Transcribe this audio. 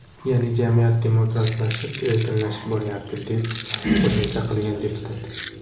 Ya’ni jamiyat demokratlashib, erkinlashib boryapti”, deb qo‘shimcha qilgan deputat.